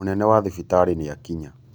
Mūnene wa thibitarī nīakinya